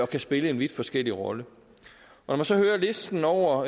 kan spille vidt forskellige roller når man så hører listen over